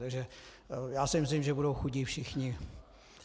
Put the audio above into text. Takže já si myslím, že budou chudí všichni.